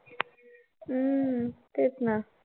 हम्म तेच ना.